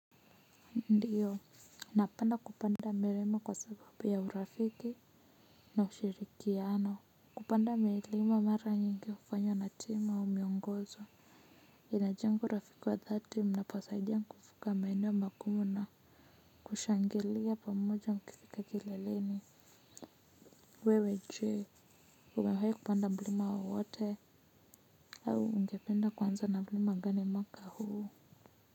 Ndiyo, naapenda kupanda mirema kwa sababu ya urafiki na ushirikiano. Kupanda milima mara nyingi hufanywa na timu au miongozo. Inajenga urafiki wa dhati mnaposaidia kuvuka maeneo makumu na. Kushangilia pamoja mkifika kileleni. Wewe je, umewayi kupanda mlima wowote. Au ungependa kuanza na mlima gani mwaka huu.